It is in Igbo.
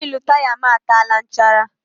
Wịịlụ taya m ataala nchara.